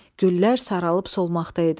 Güllər saralıb solmaqda idi.